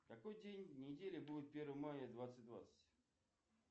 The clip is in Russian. какой день недели будет первое мая двадцать двадцать